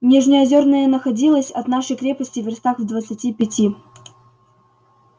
нижнеозерная находилась от нашей крепости вёрстах в двадцати пяти